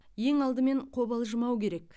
ең алдымен қобалжымау керек